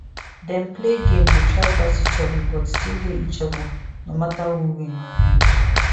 dem play game dey try pass each other but still hail each other no matter who win or lose